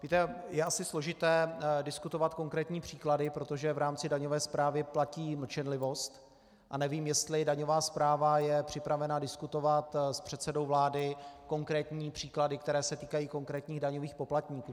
Víte, je asi složité diskutovat konkrétní příklady, protože v rámci daňové správy platí mlčenlivost a nevím, jestli daňová správa je připravena diskutovat s předsedou vlády konkrétní příklady, které se týkají konkrétních daňových poplatníků.